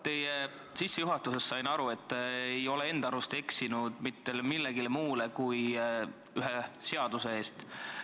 Teie sissejuhatusest sain ma aru, et te ei ole enda arust eksinud mitte millegi muu kui ühe seaduse vastu.